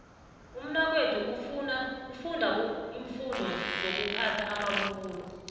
umnakwethu ufunda iimfundo sokuphatha amabubulo